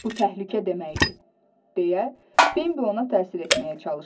Bu təhlükə deməkdir, deyə Bembi ona təsir etməyə çalışdı.